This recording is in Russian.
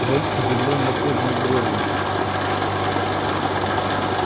рон удивлённо поднял брови